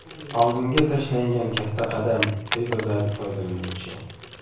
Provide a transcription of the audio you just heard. Oldinga tashlangan katta qadam!”, deb yozadi foydalanuvchi.